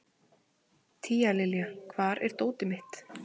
Tíalilja, hvar er dótið mitt?